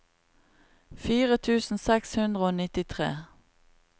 fire tusen seks hundre og nittitre